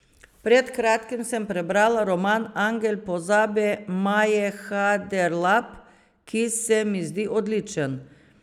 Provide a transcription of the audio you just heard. Pred kratkim sem prebrala roman Angel pozabe Maje Haderlap, ki se mi zdi odličen.